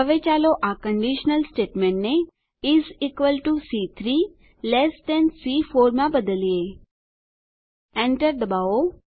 હવે ચાલો આ conditional સ્ટેટમેંટને is equal to C3 less than સી4 માં બદલીએ Enter દબાવો